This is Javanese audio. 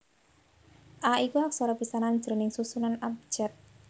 A iku aksara pisanan jroning susunan abjad